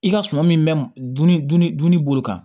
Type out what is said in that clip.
I ka suman min bɛ dun ni bolo kan